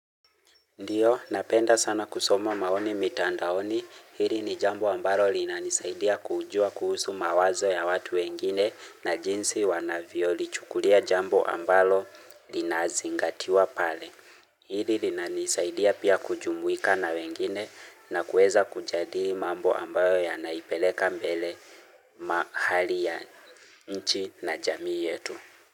Ndiyo, napenda sana kusoma maoni mitandaoni, hili ni jambo ambalo linanisaidia kujua kuhusu mawazo ya watu wengine na jinsi wanavyo lichukulia jambo ambalo linazingatiwa pale. Hili linanisaidia pia kujumuika na wengine na kueza kujadili mambo ambayo ya naipeleka mbele mahali ya nchi na jamii yetu.